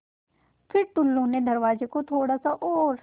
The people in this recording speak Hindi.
फ़िर टुल्लु ने दरवाज़े को थोड़ा सा और